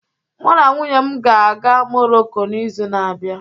Mụ na nwunye m ga-aga Moroko n'izu na-abịa.